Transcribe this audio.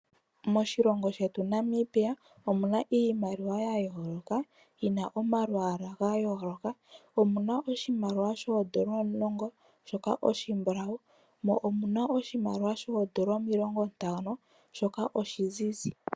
Moshilongo shetu Namibia omuna iimaliwa yayooloka yina omalwaala gayooloka, omuna oshimaliwa shoodola omulongo shoka shimbulawu mo omuna oshimaliwa shoodola omiilongo ntano shoka oshizizi.